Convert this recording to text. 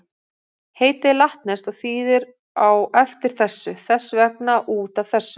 Heitið er latneskt og þýðir á eftir þessu, þess vegna út af þessu.